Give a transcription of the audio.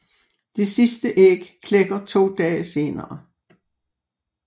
Det sidste æg klækker to dage senere